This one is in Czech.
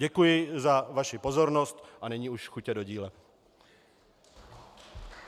Děkuji za vaši pozornost a nyní už chutě do díla.